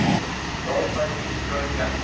hrópaði bílstjórinn bjartsýnn.